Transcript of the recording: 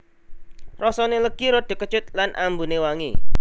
Rasane legi rada kecut lan ambune wangi